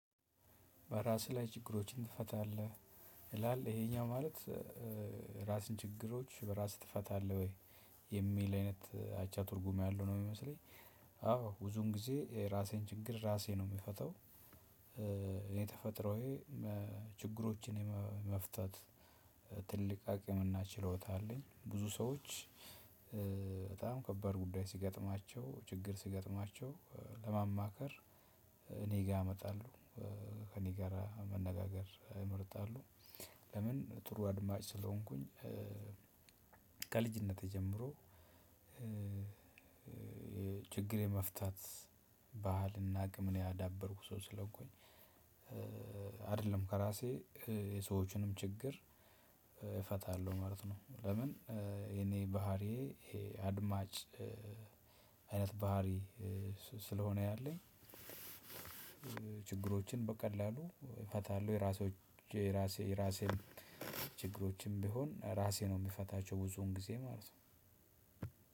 በራስህ ላይ ችግሮችን ትፈታለህ ይላል ይሄኛው ማለት ራስን ችግሮች በራስ ትፈታለህ ወይ የሚል አይነት አቻ ትርጉም ያለው ነው የሚመስለኝ። አዎ ብዙን ጊዜ ራሴን ችግር ራሴ ነው የምፈተው። እኔ ተፈጥሮዬ ችግሮችን የመፍታት ትልቅ አቅም እና ችሎታ አለኝ ብዙ ሰዎች በጣም ከባድ ጉዳይ ሲገጥማቸው ችግር ሲገጥማቸው ለማማከር እኔ ጋር ያመጣሉ። ከእኔ ጋር መነጋገር ይመርጣሉ። ለምን ጥሩ አድማጭ ስለሆንኩኝ። ከልጅነቴ ጀምሮ ችግር የመፍታት ባህልና አቅምን ያዳበርኩ ሰው ስለሆንኩኝ። አይደለም ከራሴ የሰዎችንም ችግር እፈታለሁ ማለት ነው። ለምን? የኔ ባህሪዬ ይሄ አድማጭ አይነት ባህሪ ስለሆነ ያለኝ። ችግሮችን በቀላሉ እፈታለሁ የራሶቼ የራሴ የራሴን ችግሮችም ቢሆን ራሴ ነው የምፈታቸው ብዙውን ጊዜ ማለት ነው።